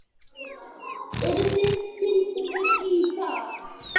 Eru þið tilbúnir í það?